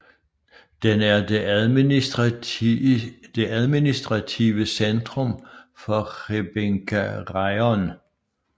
Den er det administrative centrum for Hrebinka Raion